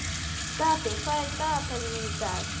Stapi, hvað er í dagatalinu mínu í dag?